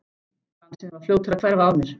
Glansinn var fljótur að hverfa af mér.